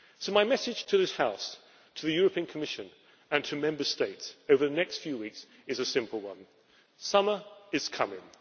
So my message to this House, to the Commission and to Member States over the next few weeks is a simple one summer is coming.